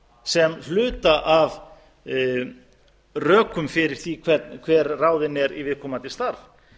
sem hluta af rökum fyrir því hver ráðinn er í viðkomandi starf